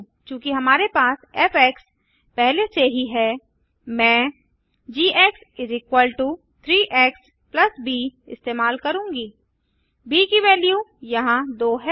चूँकि हमारे पास फ़ पहले से ही है मैं g 3 एक्स ब इस्तेमाल करूँगा ब की वैल्यू यहाँ 2 है